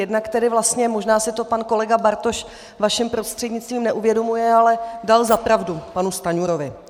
Jednak tedy vlastně, možná si to pan kolega Bartoš, vaším prostřednictvím, neuvědomuje, ale dal za pravdu panu Stanjurovi.